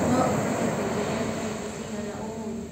noũhote kunjĩĩra ni tarĩkĩ cĩganaũmũthĩ